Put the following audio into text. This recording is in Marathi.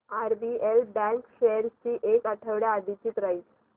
आरबीएल बँक शेअर्स ची एक आठवड्या आधीची प्राइस